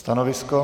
Stanovisko?